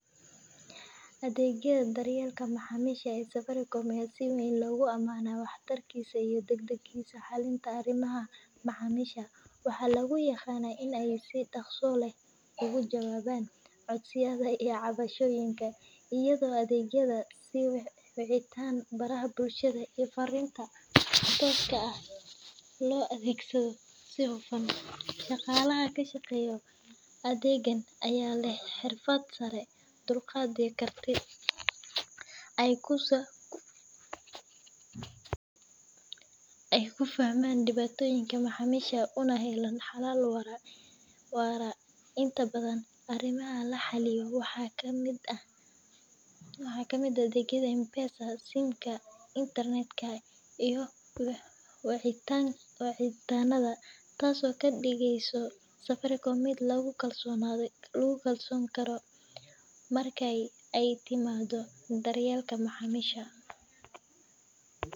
Adeegga daryeelka macaamiisha ee Safaricom ayaa si weyn loogu amaanaa waxtarkiisa iyo degdegtiisa xallinta arrimaha macaamiisha. Waxaa lagu yaqaan in ay si dhakhso leh uga jawaabaan codsiyada iyo cabashooyinka, iyadoo adeegyada sida wicitaan, baraha bulshada, iyo farriimaha tooska ah live chat loo adeegsado si hufan. Shaqaalaha ka shaqeeya adeegan ayaa leh xirfad sare, dulqaad iyo karti ay ku fahmaan dhibaatooyinka macaamiisha, una helaan xalal waara. Inta badan, arrimaha la xalliyo waxaa ka mid ah adeegyada M-Pesa, SIM-ka, internet-ka iyo wicitaanada, taasoo ka dhigaysa Safaricom mid lagu kalsoonaan karo marka ay timaado daryeelka macaamiisha.